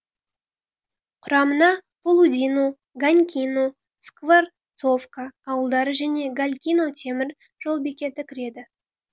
құрамына полудино ганькино скворцовка ауылдары және ганькино темір жол бекеті кіреді